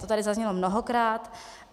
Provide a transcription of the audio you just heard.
To tady zaznělo mnohokrát.